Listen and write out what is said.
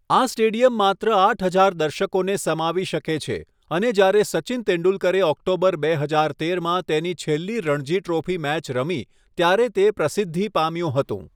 આ સ્ટેડિયમ માત્ર આઠ હજાર દર્શકોને સમાવી શકે છે અને જ્યારે સચિન તેંડુલકરે ઓક્ટોબર બે હજાર તેરમાં તેની છેલ્લી રણજી ટ્રોફી મેચ રમી ત્યારે તે પ્રસિદ્ધિ પામ્યું હતું.